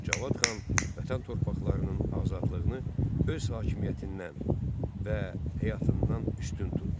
Cavad xan Vətən torpaqlarının azadlığını öz hakimiyyətindən və həyatından üstün tutdu.